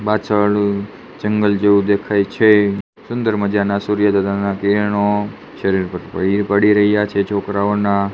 પાછળ જંગલ જેવું દેખાય છે સુંદર મજાના સૂર્યા દાદા ના કિરણો શરીર પર પડી પડી રહ્યા છે છોકરાઓના.